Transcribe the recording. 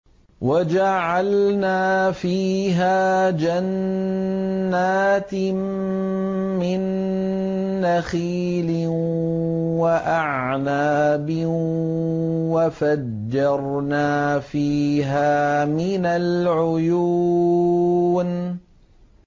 وَجَعَلْنَا فِيهَا جَنَّاتٍ مِّن نَّخِيلٍ وَأَعْنَابٍ وَفَجَّرْنَا فِيهَا مِنَ الْعُيُونِ